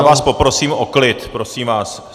Já vás poprosím o klid, prosím vás.